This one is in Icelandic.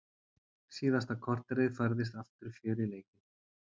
Síðasta korterið færðist aftur fjör í leikinn.